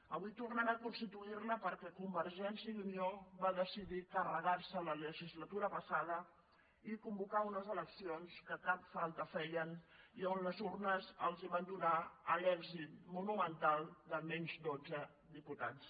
avui tornem a constituir la perquè convergència i unió va decidir carregar se la legislatura passada i convocar unes eleccions que cap falta feien i on les urnes els van donar l’èxit monumental de menys dotze diputats